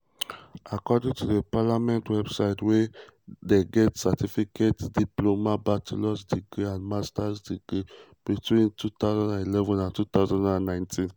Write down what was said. according to the parliament website were um get certificate diploma bachelor's degree and master's degree between 2011 and 2019.